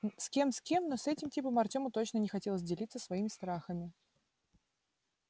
с кем с кем но с этим типом артёму точно не хотелось делиться своими страхами